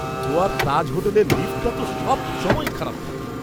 গোয়ার তাজ হোটেলের লিফ্টটা তো সবসময়ই খারাপ থাকে।